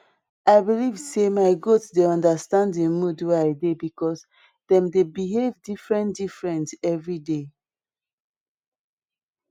i believe say my goat dey understand di mood wey i dey because dem dey behave different different every day